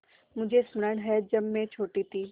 मुझे स्मरण है जब मैं छोटी थी